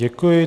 Děkuji.